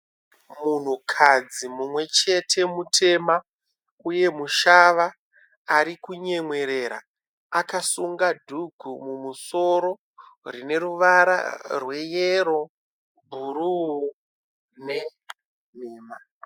Munhukadzi mumwe chete mutema uye mushava ari kunyemwerera. Akasunga dhugu mumusoro rine ruvara rweyero bhuruu nenhema